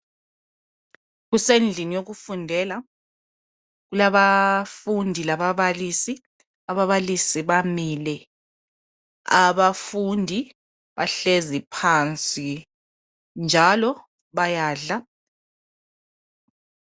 Kusendlini yokufundela kulabafundi lababalisi, ababalisi bamile abafundi bahlezi phansi njalo bayadla.